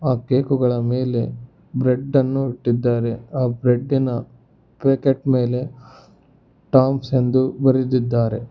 ಆ ಕೇಕು ಗಳ ಮೇಲೆ ಬ್ರೆಡ್ ಅನ್ನು ಇಟ್ಟಿದ್ದಾರೆ ಆ ಬ್ರೆಡ್ಡಿ ನ ಪ್ಯಾಕೆಟ್ ಮೇಲೆ ಥಾಮ್ಸ್ ಇಂದು ಬರೆದಿದ್ದಾರೆ.